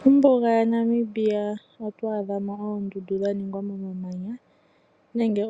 Mombuga yaNamibia oto adha mo oondundu dha ningwa momamanya nenge